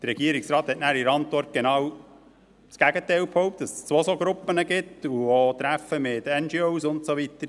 Der Regierungsrat hat dann in der Antwort genau das Gegenteil behauptet, nämlich, dass es zwei solche Gruppen gibt und auch Treffen mit NGO und so weiter.